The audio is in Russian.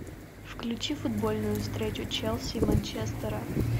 включи футбольную встречу челси и манчестера